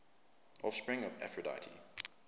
offspring of aphrodite